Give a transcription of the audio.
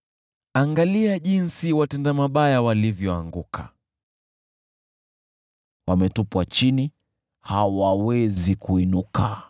Angalia jinsi watenda mabaya walivyoanguka: wametupwa chini, hawawezi kuinuka!